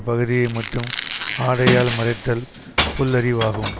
பகுதியை மட்டும் ஆடையால் மறைத்தல் புல்லறிவாகும்